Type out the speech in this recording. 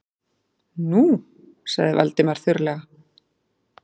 Nú- sagði Valdimar þurrlega.